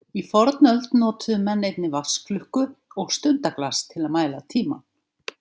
Í fornöld notuðu menn einnig vatnsklukku og stundaglas til að mæla tímann.